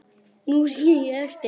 Nú sé ég eftir því.